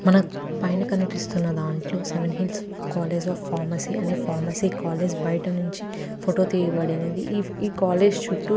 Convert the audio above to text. మనకి పైన కనిపిస్తున్న దాట్లో Seven Hills College of Pharmacy అని ఫార్మసీ కాలేజ్ బయట నించి ఫోటో తీయబడినది ఈ కాలేజ్ చుట్టూ --